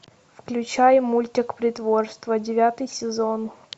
включай мультик притворство девятый сезон